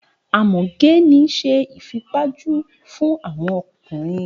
A mọ ge ni ṣe ifipaju fun awọn ọkunrin.